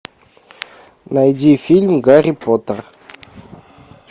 найди фильм гарри поттер